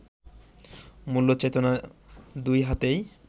মূল্যচেতনা দুই হাতেই